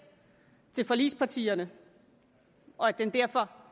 til forligspartierne og at den derfor